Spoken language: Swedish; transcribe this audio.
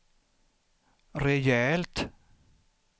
rejält